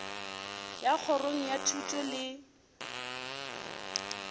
ya kgorong ya thuto le